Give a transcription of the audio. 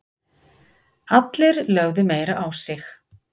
Allir lögðu meira á sig